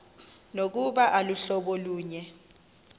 nokuba aluhlobo lunye